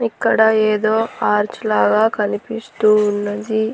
ఇక్కడ ఏదో ఆర్చ్ లాగా కనిపిస్తూ ఉన్నది.